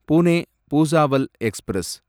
Pune Bhusawal express